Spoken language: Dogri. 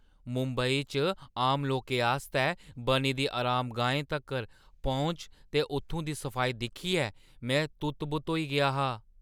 मुंबई च आम लोकें आस्तै बनी दी अरामगाहें तगर पौंह्‌च ते उत्थूं दी सफाई दिक्खियै में तुत्त-बुत्त होई गेआ हा।